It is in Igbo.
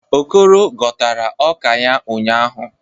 Okoro ghọtara ọka ya ụnyahụ.